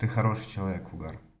ты хороший человек угар